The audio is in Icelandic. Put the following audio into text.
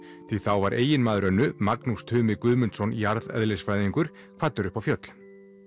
því þá var eiginmaður Önnu Magnús Tumi Guðmundsson jarðeðlisfræðingur kvaddur upp á fjöll